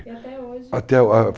E até hoje? até